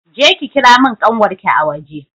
Je ki ki kira mun ƙanwarki a waje!